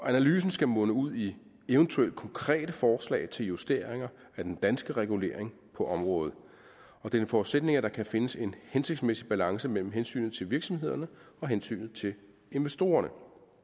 analysen skal munde ud i eventuelle konkrete forslag til justeringer af den danske regulering på området og det er en forudsætning at der kan findes en hensigtsmæssig balance mellem hensynet til virksomhederne og hensynet til investorerne